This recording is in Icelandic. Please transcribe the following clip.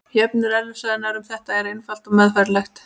Jöfnur eðlisfræðinnar um þetta eru einfaldar og meðfærilegar.